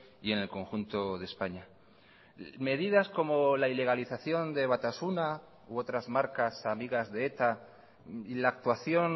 y en el conjunto de españa medidas como la ilegalización de batasuna u otras marcas amigas de eta y la actuación